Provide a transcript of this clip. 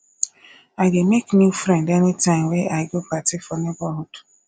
i dey make new friend anytime wey i go party for neborhood